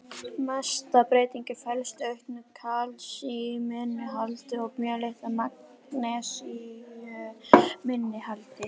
Mesta breytingin felst í auknu kalsíuminnihaldi og mjög litlu magnesíuminnihaldi.